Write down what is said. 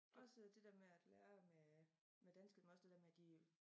Også det dér med at lære med med dansk men også det der med de